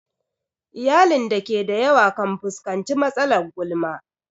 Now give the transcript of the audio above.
Iyalin da ke da yawa kan fuskanci matsalar gulma.